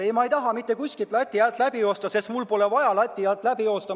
Ei, ma ei taha mitte kuskilt lati alt läbi joosta, sest mul pole vaja lati alt läbi joosta.